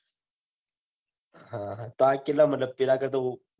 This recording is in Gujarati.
હ તાર કેટલા મદદ પેલા કરતા બૌ